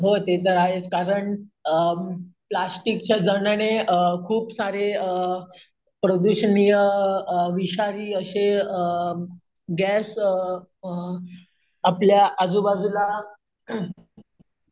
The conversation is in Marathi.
हो ते तर आहेच कारण अम प्लास्टिक सारख्या वस्तू वापरल्याने अम खूप सारेअम प्रदूषणीय अम विषारी अम गॅस अम आपल्या आजूबाजूला,